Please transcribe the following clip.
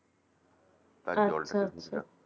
আচ্ছা আচ্ছা